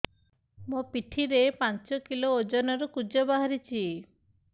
ମୋ ପିଠି ରେ ପାଞ୍ଚ କିଲୋ ଓଜନ ର କୁଜ ବାହାରିଛି